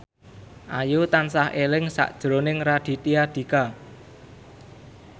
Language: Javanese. Ayu tansah eling sakjroning Raditya Dika